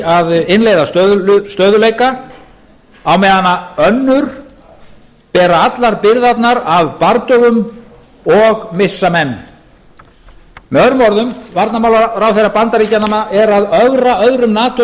að innleiða stöðugleika á meðan önnur bera allar byrðarnar af bardögum og missa menn með öðrum orðum varnarmálaráðherra bandaríkjanna er að ögra öðrum nato